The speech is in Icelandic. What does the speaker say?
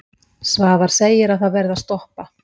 Svavar segi að það verði að stoppa.